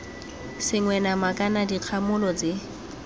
sengwe nama kana dikgamolo tse